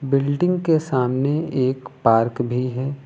Building के सामने एक पार्क भी है।